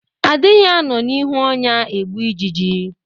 A dịghị anọ n'ihu ọnya egbu ijiji.